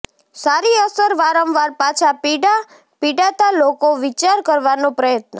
સારી અસર વારંવાર પાછા પીડા પીડાતા લોકો વિચાર કરવાનો પ્રયત્ન